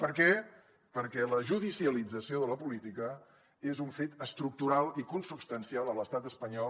per què perquè la judicialització de la política és un fet estructural i consubstancial a l’estat espanyol